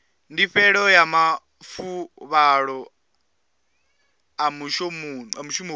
ndifhelo ya mafuvhalo a mushumoni